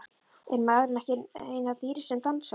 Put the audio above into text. Er maðurinn ekki eina dýrið sem dansar?